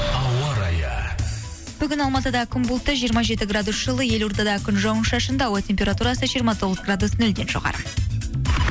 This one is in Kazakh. ауа райы бүгін алматыда күн бұлтты жиырма жеті градус жылы елордада күн жауын шашынды ауа температурасы жиырма тоғыз градус нөлден жоғары